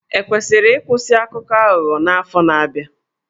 E kwesịrị ịkwụsị Akụkọ Aghụghọ n'afọ na-abịa?